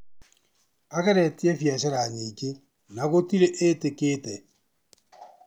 Ageretie biacara nyingĩ na gũtirĩ ĩtĩkĩte.